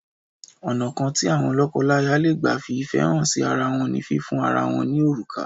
Ọ̀nà kan tí àwọn lọ́kọláya lè gbà fi ìfẹ́ hà sí ara wọ́n ní fífiun ara wọn ní òrùka.